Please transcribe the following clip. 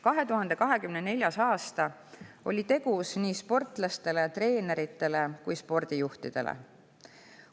2024. aasta oli tegus nii sportlastele ja treeneritele kui ka spordijuhtidele.